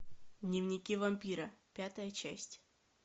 дневники вампира пятая часть